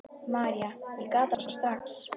María: Ég gat það bara strax.